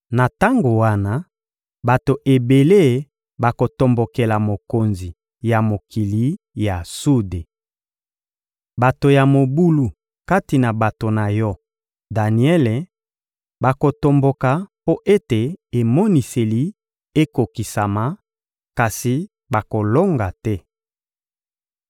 Na tango wana, bato ebele bakotombokela mokonzi ya mokili ya sude. Bato ya mobulu kati na bato na yo, Daniele, bakotomboka mpo ete emoniseli ekokokisama, kasi bakolonga te.